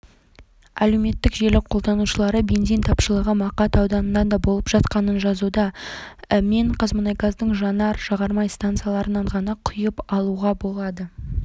әлеуметтік желі қолданушылары бензин тапшылығы мақат ауданында да болып жатқанын жазуда мен қазмұнайгаздың жанар-жағармай стансаларынан ғана құйып алуға болады атырауда бензин